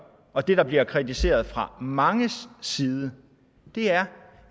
og det der bliver kritiseret fra manges side er